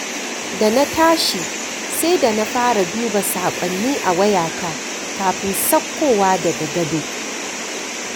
Da na tashi, sai da na fara duba saƙonni a wayata kafin sauƙowa daga gado.